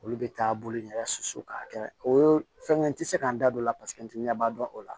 Olu bɛ taa bolo in yɛrɛ susu k'a kɛ o ye fɛnkɛ n tɛ se ka n da don o la paseke n tɛ ɲɛ b'a dɔn o la